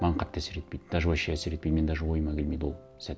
маған қатты әсер етпейді даже вообще әсер етпейді менің даже ойыма келмейді ол сәт